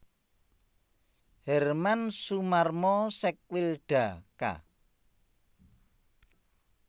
Herman Sumarmo Sekwilda Ka